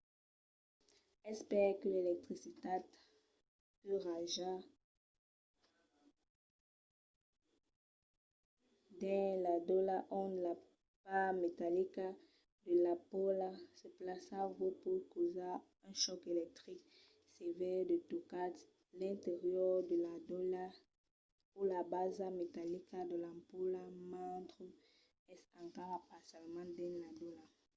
es perque l'electricitat que raja dins la dolha ont la part metallica de l'ampola se plaça vòs pòt causar un chòc electric sevèr se tocatz l'interior de la dolha o la basa metallica de l'ampola mentre es encara parcialament dins la dolha